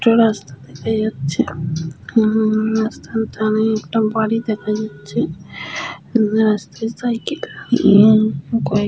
একটা রাস্তা দেখা যাচ্ছে উম রাস্তার ধারে একটা বাড়ি দেখা যাচ্ছে । রাস্তায় সাইকেল নিয়ে কয়েক --